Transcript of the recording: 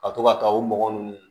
Ka to ka taa o mɔgɔ ninnu